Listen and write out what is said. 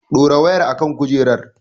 Dora wayar a kan kujerar!